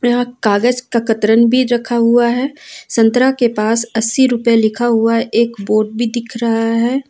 यहां कागज का कतरन भी रखा हुआ है संतरा के पास अस्सी रुपए लिखा हुआ एक बोर्ड भी दिख रहा है।